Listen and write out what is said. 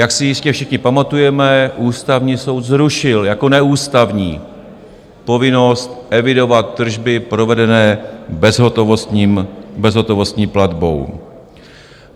Jak si jistě všichni pamatujeme, Ústavní soud zrušil jako neústavní povinnost evidovat tržby provedené bezhotovostní platbou.